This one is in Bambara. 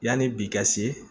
Yanni bi ka se